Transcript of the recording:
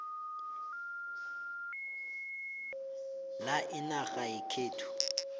la inac yakhe